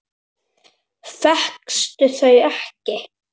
Fékkstu þau ekki?